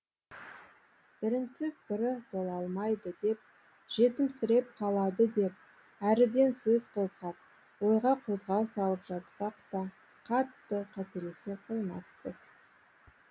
бірінсіз бірі бола алмайды деп жетімсіреп қалады деп әріден сөз қозғап ойға қозғау салып жатсақ та қатты қателесе қоймаспыз